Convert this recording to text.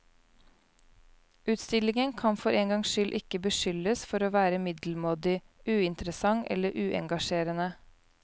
Utstillingen kan for en gangs skyld ikke beskyldes for å være middelmådig, uinteressant eller uengasjerende.